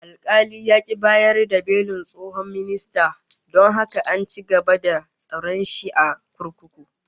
Alkali ya ki bayar da belin tsohon ministan, don haka an ci gaba da tsare shi a kurkuku